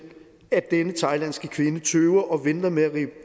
at denne thailandske kvinde tøver og venter med at rive